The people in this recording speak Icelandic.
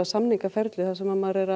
samningaferli þar sem að maður er